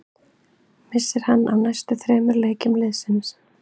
Missir hann af næstu þremur leikjum liðsins.